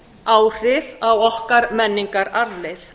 áhrif á okkar menningararfleifð